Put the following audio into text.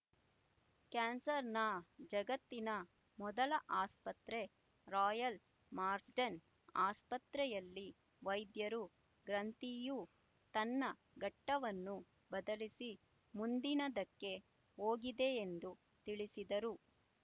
ಕ್ಯಾನ್ಸರ್‍ನ ಜಗತ್ತಿನ ಮೊದಲ ಆಸ್ಪತ್ರೆ ರಾಯಲ್ ಮಾರ್ಸ್‍ಡೆನ್ ಆಸ್ಪತ್ರೆಯಲ್ಲಿ ವೈದ್ಯರು ಗ್ರಂಥಿಯು ತನ್ನ ಘಟ್ಟವನ್ನು ಬದಲಿಸಿ ಮುಂದಿನದಕ್ಕೆ ಹೋಗಿದೆಯೆಂದು ತಿಳಿಸಿದರು